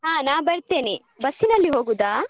ಹ ನಾ ಬರ್ತೆನೆ bus ನಲ್ಲಿ ಹೋಗುದಾ?